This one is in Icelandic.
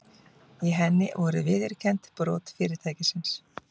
Í henni voru viðurkennd brot fyrirtækisins